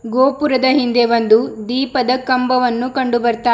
ಗೋಪುರದ ಹಿಂದೆ ಒಂದು ದೀಪದ ಕಂಬವನ್ನು ಕಂಡು ಬರ್ತಾ--